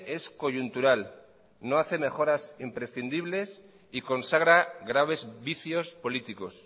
es coyuntural no hace mejoras imprescindibles y consagra graves vicios políticos